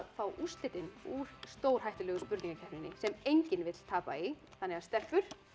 fá úrslitin úr stórhættulegu spurningakeppninni sem enginn vill tapa í þannig að stelpur